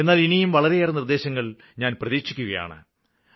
എന്നാല് ഇനിയും വളരെയേറെ നിര്ദ്ദേശങ്ങള് ഞാന് പ്രതീക്ഷിക്കുകയാണ്